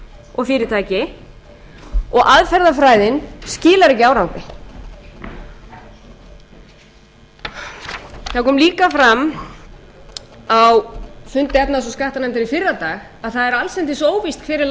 og fyrirtæki og aðferðafræðin skilar ekki árangri það kom líka fram á fundi efnahags og skattanefndar í fyrradag að það er allsendis óvíst hver er